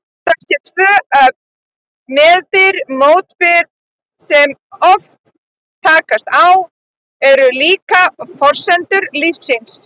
Þessi tvö öfl, meðbyr-mótbyr, sem svo oft takast á, eru líklega forsendur lífsins.